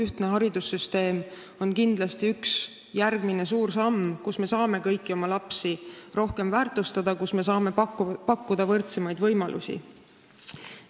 Ühtne haridussüsteem on kindlasti üks järgmine suur samm, mille abil me saame kõiki oma lapsi rohkem väärtustada, pakkuda neile võrdsemaid võimalusi.